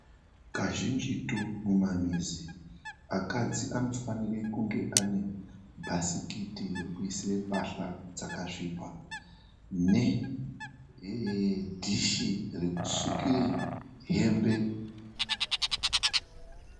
Kazhinjitu mumamizi akadzi anofanire kunge aine bhasikiti rekuisire mbahla dzakasvipa nedhishi rekusukire hembe.